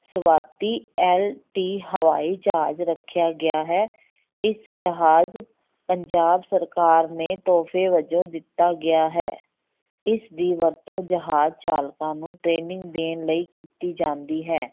ਸਵਾਤੀ LT ਹਵਾਈ ਜਹਾਜ ਰੱਖਿਆ ਗਿਆ ਹੈ, ਇਸ ਜਹਾਜ ਪੰਜਾਬ ਸਰਕਾਰ ਨੇ ਤੋਹਫੇ ਵਜੋਂ ਦਿੱਤਾ ਗਿਆ ਹੈ, ਇਸ ਦੀ ਵਰਤੋਂ ਜਹਾਜ ਚਾਲਕਾਂ ਨੂੰ training ਦੇਣ ਲਈ ਕੀਤੀ ਜਾਂਦੀ ਹੈ।